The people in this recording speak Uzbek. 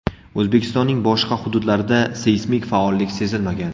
O‘zbekistonning boshqa hududlarida seysmik faollik sezilmagan.